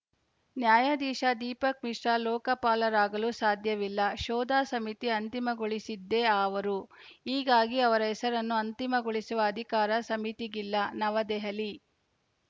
ನ್ಯಾಯಧೀಶ ದೀಪಕ್‌ ಮಿಶ್ರಾ ಲೋಕಪಾಲರಾಗಲು ಸಾಧ್ಯವಿಲ್ಲ ಶೋಧ ಸಮಿತಿ ಅಂತಿಮಗೊಳಿಸಿದ್ದೇ ಅವರು ಹೀಗಾಗಿ ಅವರ ಹೆಸರನ್ನು ಅಂತಿಮಗೊಳಿಸುವ ಅಧಿಕಾರ ಸಮಿತಿಗಿಲ್ಲ ನವದೆಹಲಿ